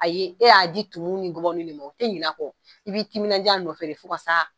Aye e y'a di tumuw ni gɔbɔniw de ma u te ɲinɛ a kɔ i b'i timinanja a nɔfɛ de fɔ ka sa